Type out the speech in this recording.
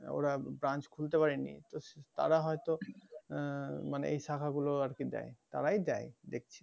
ওরা branch খুলতে পারেনি তো~সে তারা হয়তো আহ মানে এই শাখা গুলো আরকি দেয় তারাই দেয় দেখছি